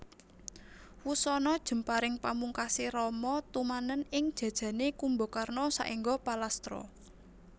Wusana jemparing pamungkasé Rama tumanen ing jajané Kumbakarna saéngga palastra